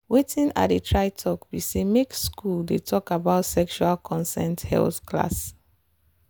watin i dey try talk be say make school dey talk about sexual consent health class.